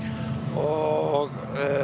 og